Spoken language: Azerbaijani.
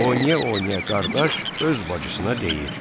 Oynaya-oynaya qardaş öz bacısına deyir: